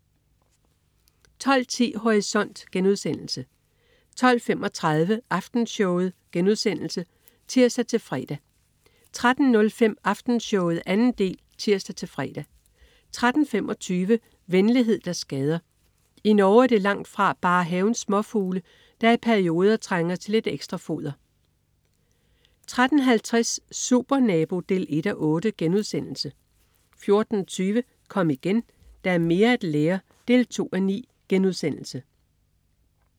12.10 Horisont* 12.35 Aftenshowet* (tirs-fre) 13.05 Aftenshowet 2. del (tirs-fre) 13.25 Venlighed der skader. I Norge er det langtfra bare havens småfugle, der i perioder trænger til lidt ekstra foder 13.50 Supernabo 1:8* 14.20 Kom igen, der er mere at lære 2:9*